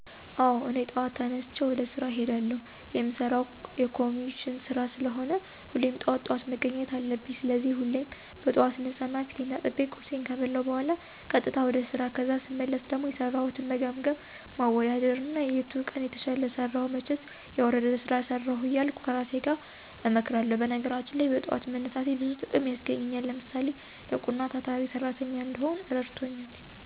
አወ እኔ ጠዋት ተነስቸ ወደ ስራ እሄዳለሁ። የምሰራው የኮሚሽን ስራ ስለሆነ ሁሌም ጠዋት ጠዋት መገኘት አለብኝ። ስለዚህ ሁሌም በጥዋት እነሳና ፊቴን ታጥቤ፣ ቁርሴን ከበላሁ በኋላ ቀጥታ ወደ ስራ ከዛ ስመለስ ደሞ የሰራሁትን መገምገም፣ ማወዳደር እና የቱ ቀን የተሻለ ሰራሁ መቸስ የወረደ ስራ ሰራሁ እያልሁ ከራሴ ጋር እመክራለሁ። በነገራችን ላይ በጥዋት መነሳቴ ብዙ ጥቅም ያስገኘኛል። ለምሳሌ፣ ንቁና ታታሪ ሰራተኛ እንድሆን እረድቶኛል።